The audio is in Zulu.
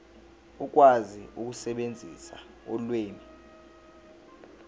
ukwazi ukusebenzisa ulimi